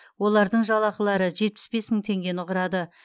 олардың жалақылары жетпіс бес мың теңгені құрады